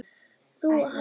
Þú og Halli?